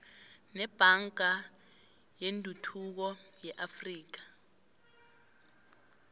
nebhanka yetuthuko yeafrika